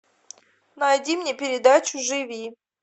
найди мне передачу живи